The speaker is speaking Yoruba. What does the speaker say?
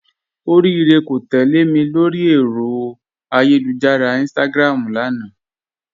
Orirè kò tẹlẹ̀ mì lórí èrò ayélujára Instagram lánà